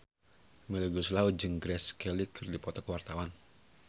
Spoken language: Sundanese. Melly Goeslaw jeung Grace Kelly keur dipoto ku wartawan